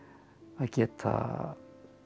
að geta